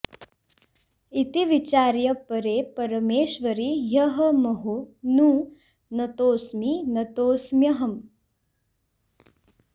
इति विचार्य परे परमेश्वरि ह्यहमहो नु नतोऽस्मि नतोऽस्म्यहम्